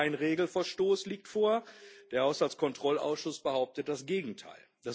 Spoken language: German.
Also, kein Regelverstoß liegt vor der Haushaltskontrollausschuss behauptet das Gegenteil.